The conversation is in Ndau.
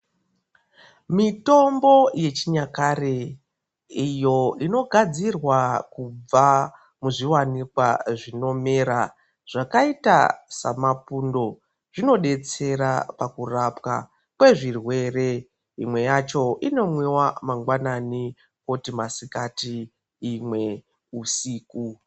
Mitombo yechinyakare iyoo inogadzirwa kubva muzviwanikwa zvinomera zvakaita semapundo zvinobetsera pakurapwa kwezvirwere inwe yacho inomwiwa mangwanani koti masikati imwe husiku.